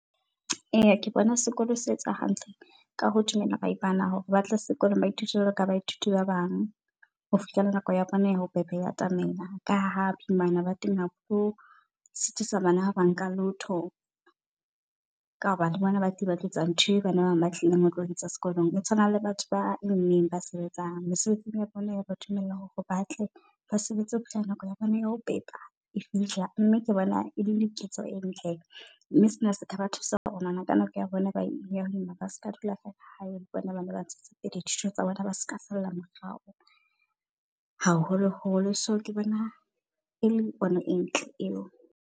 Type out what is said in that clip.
Eya ke bona sekolo se etsa hantle ka ho dumela ba imana hore ba tle sekolong ba thuswe jwalo ka baithuti ba bang ho fihlela nako ya bona ya ho pepa e atamela. Ka ha bo imana ba teng ha bo sitisa bana ba nka lotho ka hobane le bona batho ba tlo etsa ntho e bana ba bang batlileng ho tlo etsa sekolong. Ho tshwana le batho ba immeng ba sebetsang mesebetsing ya bona yaba dumella hore o batle ba sebetse ho fihlela nako ea bona ya ho pepa e fihla. Mme ke bona e le diketso e ntle mme sena se ka ba thusa hore ngwana ka nako ya bona ba imana ba ska dula hae. Tse pedi, thuto tsa bona ba di ska salla morao haholo holo. So ke bona e le ona ntho e ntle eo.